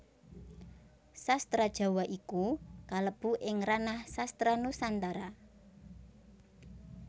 Sastra Jawa iku kalebu ing ranah Sastra Nusantara